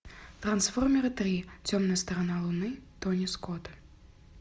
трансформеры три темная сторона луны тони скотта